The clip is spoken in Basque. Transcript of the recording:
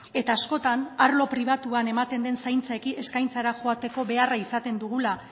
eta askotan arlo pribatuan ematen den zaintza eskaintzara joateko beharra izaten dugula